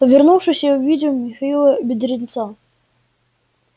повернувшись я увидел михаила бедренца